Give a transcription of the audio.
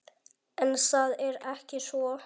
En það er ekki svo.